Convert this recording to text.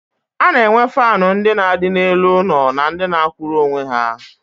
A na-enwe faanụ ndị na-adị n'elu ụlọ na ndị na-akwụrụ onwe ha.